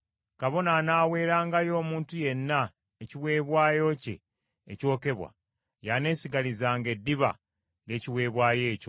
Kabona anaaweerangayo omuntu yenna ekiweebwayo kye ekyokebwa, y’aneesigalizanga eddiba ly’ekiweebwayo ekyo.